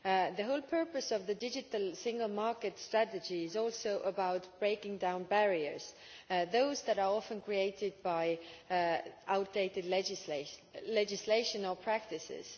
The whole purpose of the Digital Single Market strategy is also about breaking down barriers, those that are often created by outdated legislation or practices.